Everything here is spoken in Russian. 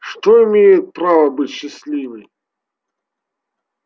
что имеет право быть счастливой